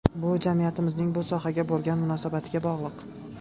Bu jamiyatimizning bu sohaga bo‘lgan munosabatiga bog‘liq.